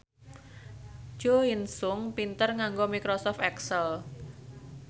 Jo In Sung pinter nganggo microsoft excel